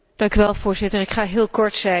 Voorzitter, ik zal heel kort zijn.